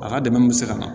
A ka dɛmɛ bɛ se ka na